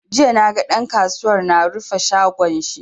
Jiya naga ɗan kasuwar na rufe shagon shi.